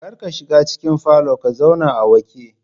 Kar ka shiga cikin falon ka zauna a wake